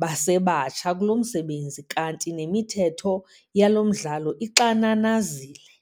basebatsha kulo msebenzi kanti nemithetho yalo mdlalo ixananazile.